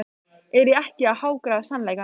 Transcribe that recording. Er ég ekki að hagræða sannleikanum?